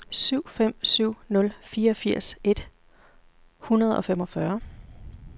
syv fem syv nul fireogfirs et hundrede og femogfyrre